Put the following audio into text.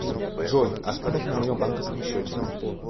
джой остаток на моем банковском счете